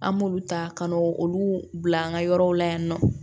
An b'olu ta ka n'o olu bila an ka yɔrɔw la yan nɔ